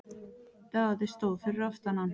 Daði stóð fyrir aftan hann.